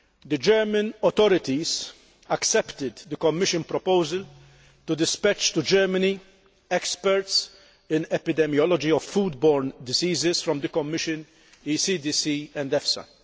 The German authorities accepted the Commission proposal to dispatch to Germany experts in epidemiology of food borne diseases from the Commission, the ECDC and the EFSA.